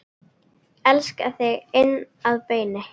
Elska þig inn að beini.